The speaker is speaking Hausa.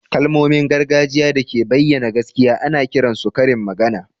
Kalmomin gargajiya da ke bayyana gaskiya ana kiran su karin magana